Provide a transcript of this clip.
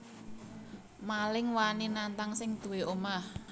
Maling wani nantang sing duwé omah